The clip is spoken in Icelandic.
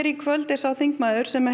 í kvöld er sá þingmaður sem